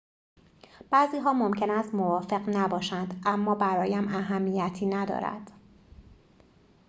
بعضی‌ها ممکن است موافق نباشند اما برایم اهمیتی ندارد